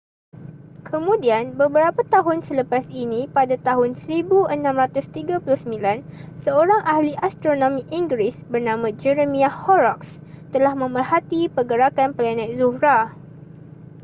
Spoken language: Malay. kemudian beberapa tahun selepas ini pada tahun 1639 seorang ahli astronomi inggeris bernama jeremiah horrocks telah memerhati pergerakan planet zuhrah